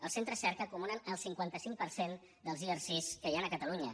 els centres cerca acumulen el cinquanta cinc per cent dels erc que hi han a catalunya